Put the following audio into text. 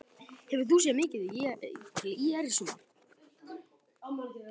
Hefur þú séð mikið til ÍR í sumar?